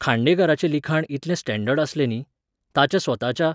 खांडेकराचें लिखाण इतलें स्टॅंडर्ड आसलें न्ही, ताच्या स्वताच्या